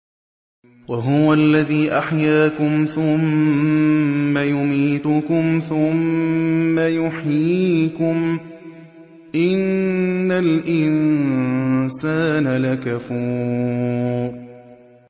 وَهُوَ الَّذِي أَحْيَاكُمْ ثُمَّ يُمِيتُكُمْ ثُمَّ يُحْيِيكُمْ ۗ إِنَّ الْإِنسَانَ لَكَفُورٌ